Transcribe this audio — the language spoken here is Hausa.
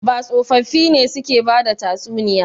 Ba tsofaffi ne suke bada tatsuniya.